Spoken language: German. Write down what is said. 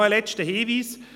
Ein letzter Hinweis: